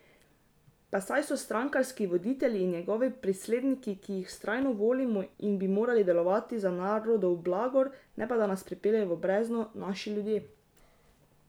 Pa saj so strankarski voditelji in njihovi priskledniki, ki jih vztrajno volimo in bi morali delovati za narodov blagor, ne pa da nas pripeljejo v brezno, naši ljudje.